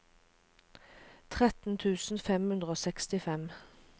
tretten tusen fem hundre og sekstifem